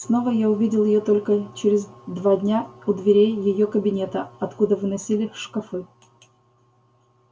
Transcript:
снова я увидел её только через два дня у дверей её кабинета откуда выносили шкафы